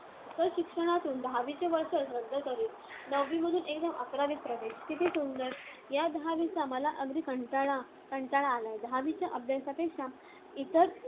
तर शिक्षणातून दहावीचे वर्षच रद्द करीन! नववीमधून एकदम अकरावीत प्रवेश! किती सुंदर! या दहावीचा मला अगदी कंटाळा कंटाळा आलाय. दहावीच्या अभ्यासापेक्षा इतर